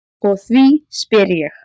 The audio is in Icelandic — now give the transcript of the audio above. Og því spyr ég.